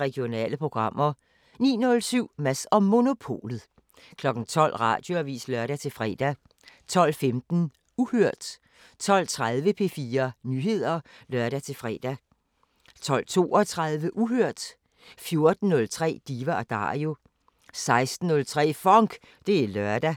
Regionale programmer 09:07: Mads & Monopolet 12:00: Radioavisen (lør-fre) 12:15: Uhørt 12:30: P4 Nyheder (lør-fre) 12:32: Uhørt 14:03: Diva & Dario 16:03: FONK! Det er lørdag